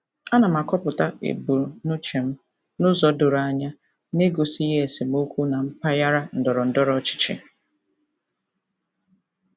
Ana m akọpụta ebumnuche m n'ụzọ doro anya na-egosighi esemokwu na mpaghara ndọrọ ndọrọ ọchịchị.